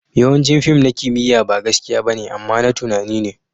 Yawancin fim na kimiyya ba gaskiya ba ne, amma na tunani ne.